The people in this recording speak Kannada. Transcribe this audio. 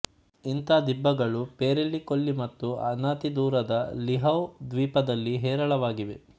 ಇಂಥ ದಿಬ್ಬಗಳು ಪೆರೆಲ್ಲಿ ಕೊಲ್ಲಿ ಮತ್ತು ಅನತಿದೂರದ ಲಿಹೌ ದ್ವೀಪದಲ್ಲಿ ಹೇರಳವಾಗಿವೆ